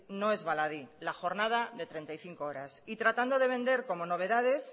no es baladí la jornada de treinta y cinco horas y tratando de vender como novedades